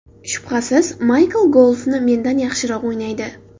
Shubhasiz, Maykl golfni mendan yaxshiroq o‘ynaydi.